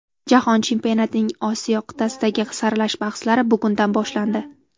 Jahon chempionatining Osiyo qit’asidagi saralash bahslari bugundan boshlandi.